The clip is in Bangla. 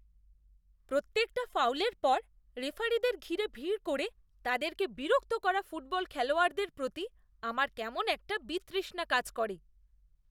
প্রত্যেকটা ফাউলের পর রেফারিদের ঘিরে ভিড় করে তাদেরকে বিরক্ত করা ফুটবল খেলোয়াড়দের প্রতি আমার কেমন একটা বিতৃষ্ণা কাজ করে।